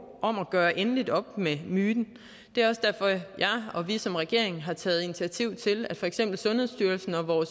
om at gøre endeligt op med myten det er også derfor jeg og vi som regering har taget initiativ til at for eksempel sundhedsstyrelsen og